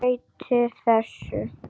Breyti þessu.